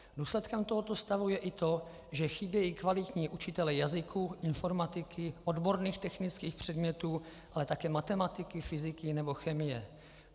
Důsledkem tohoto stavu je i to, že chybějí kvalitní učitelé jazyků, informatiky, odborných technických předmětů, ale také matematiky, fyziky nebo chemie.